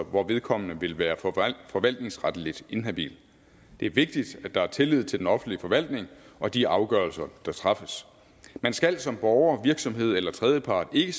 hvor vedkommende vil være forvaltningsretligt inhabil det er vigtigt at der er tillid til den offentlige forvaltning og de afgørelser der træffes man skal som borger virksomhed eller tredjepart ikke